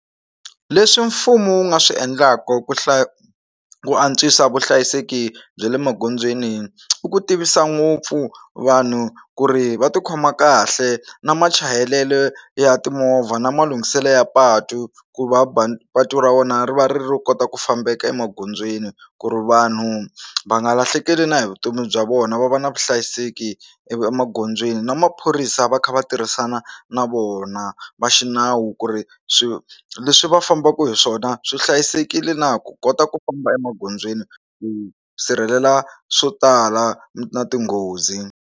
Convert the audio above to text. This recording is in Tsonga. Leswi mfumo wu nga swi endlaku ku hlaya ku antswisa vuhlayiseki bya le magondzweni i ku tivisa ngopfu vanhu ku ri va tikhoma kahle na machayelelo ya timovha na malunghiselo ya patu ku va va patu ra vona ri va ri kota ku fambeka emagondzweni ku ri vanhu va nga lahlekeli na hi vutomi bya vona va va na vuhlayiseki ivi emagondzweni na maphorisa va kha va tirhisana na vona va xinawu ku ri swi leswi va fambaku hi swona swi hlayisekile na ku kota ku famba emagondzweni ku sirhelela swo tala na tinghozi.